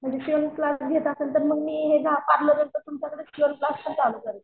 म्हणजे शिवण क्लास घेत असाल तर मी पार्लरचा शिवण क्लासपण चालू करेन.